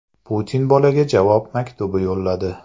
Putin bolaga javob maktubi yo‘lladi.